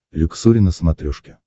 люксори на смотрешке